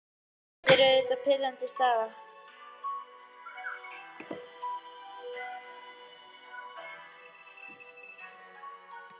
Þetta er því auðvitað pirrandi staða.